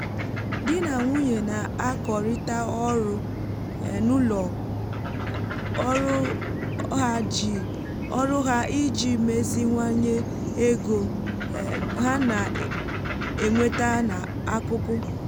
di na nwunye na-akọrịta ọrụ um n’ụlọ um ọrụ ha iji meziwanye ego um ha na-enweta n’akụkụ